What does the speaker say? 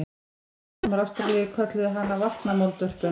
Landnemar Ástralíu kölluðu hana vatnamoldvörpuna.